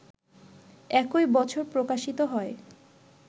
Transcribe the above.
একই বছর প্রকাশিত হয়